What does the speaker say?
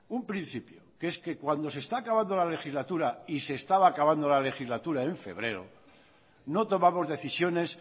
un principio que es que cuando se está acabando la legislatura y se estaba acabando la legislatura en febrero no tomamos decisiones